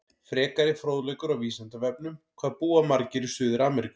Frekari fróðleikur á Vísindavefnum: Hvað búa margir í Suður-Ameríku?